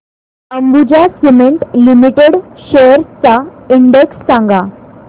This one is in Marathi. अंबुजा सीमेंट लिमिटेड शेअर्स चा इंडेक्स सांगा